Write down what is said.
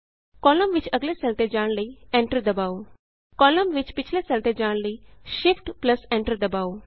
column ਵਿਚ ਅੱਗਲੇ cell ਤੇ ਜਾਣ ਲਈ Enterਦਬਾਉ ਕਾਲਮ ਵਿਚ ਪਿੱਛਲੇ ਸੈੱਲ ਤੇ ਜਾਣ ਲਈ Shift Enter ਦਬਾਉ